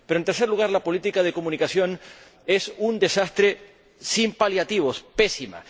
y, en tercer lugar, la política de comunicación es un desastre sin paliativos, pésima.